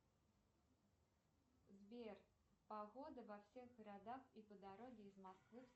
сбер погода во всех городах и по дороге из москвы